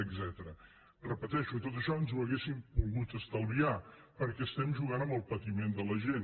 ho repeteixo tot això ens ho hauríem pogut estalviar perquè juguem amb el patiment de la gent